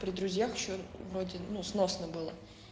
при друзьях ещё вроде ну сносно было